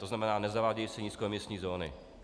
To znamená, nezavádějí se nízkoemisní zóny.